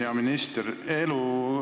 Hea minister!